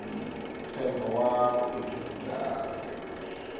ntshembo wa vuvekisi bya vurimi